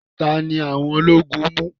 Tani awon ológun mu?